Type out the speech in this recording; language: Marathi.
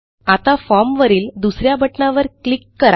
आता formवरील दुस या बटणावर क्लिक करा